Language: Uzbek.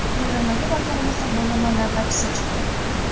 Bo‘linmaga borganimizda bo‘linma navbatchisi chiqdi.